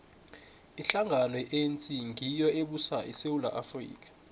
ihlangano ye anc ngiyo ebusa isewula afrika